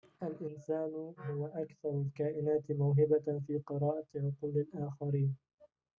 الإنسان هو أكثر الكائنات موهبةً في قراءة عقول الآخرين